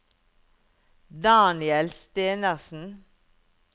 Daniel Stenersen